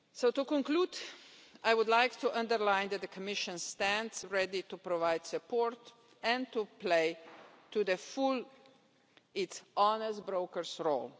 To conclude, I would like to underline that the Commission stands ready to provide support and to play to the full its honest broker role.